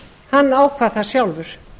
hann ákvað það sjálfur